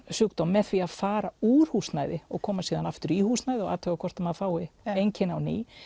sjúkdóm með því að fara úr húsnæði og koma síðan aftur í húsnæði og athuga hvort maður fái einkenni á ný